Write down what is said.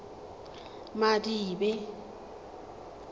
madibe